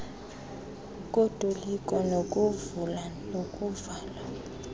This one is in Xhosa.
kotoliko lokuvula nelokuvala